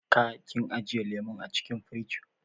Ka / kin ajiye lemun acikin firij?